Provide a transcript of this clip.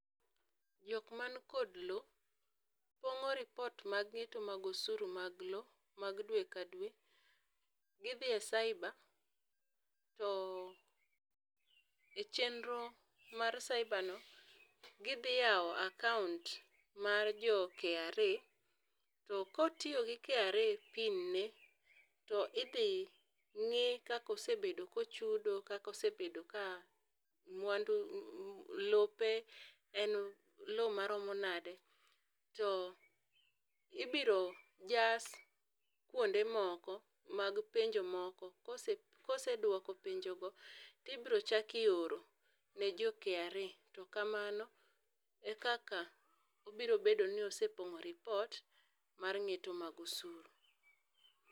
Jok man kod loo pong'o ripot mag ng'eto mag osuro mag loo mag dwe ka dwe, gi dhi e cyber to e chenro mar cyber no gi dhi yawo account mar jo kra to ka otiyo gi kra pin ne to idhi ng'i kaka osebedo ka ochudo gi kaka osebedo ka mwandu lope en loo ma romo nade to ibiro jas kuonde moko mag penjo moko, kosedwoko penjo go to ibiro chak ioro ne jo kra to kamano e kaka obiro bedo ni osepong'o ripot mar ng'eto mar osuru.